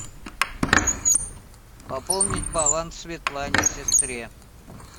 пополнить баланс светлане сестре